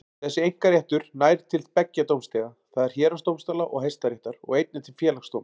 Þessi einkaréttur nær til beggja dómstiga, það er héraðsdómstóla og Hæstaréttar, og einnig til Félagsdóms.